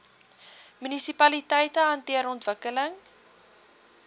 munisipaliteite hanteer ontwikkeling